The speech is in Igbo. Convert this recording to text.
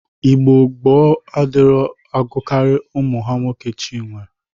Igbo gboo adịrighị agụkarị ụmụ ha nwoke Chinyere.